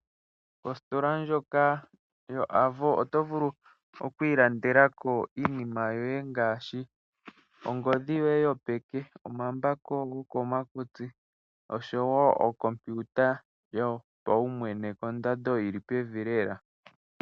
Ositola ndjoka yoAvo oto vulu okwilandela ko iinima yoye ngaashi ongodhi yoye yopeke, omambako gokomakutsi oshowo okompiuta yopaumwene kondando yi li pevi lela.